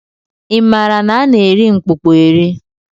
I maara na a na-eri mkpụkpọ eri?